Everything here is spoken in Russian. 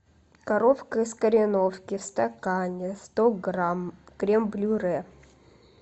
коровка из кореновки в стакане сто грамм крем брюле